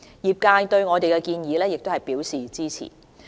業界對我們的建議亦表示支持。